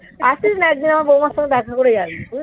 আসিস না. একজন আমার বৌমার সাথে দেখা করে যাবি. বুঝলি?